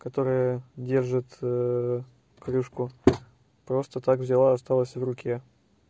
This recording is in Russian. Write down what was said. которая держит кружку просто так взяла осталось в руке